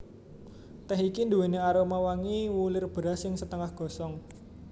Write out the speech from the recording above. Tèh iki nduwèni aroma wangi wulir beras sing setengah gosong